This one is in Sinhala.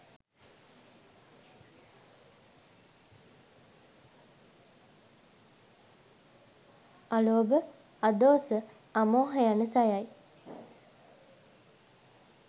අලෝභ, අදෝස, අමෝහ යන සයයි.